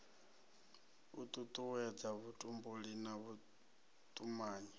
u tutuwedza vhutumbuli na vhutumanyi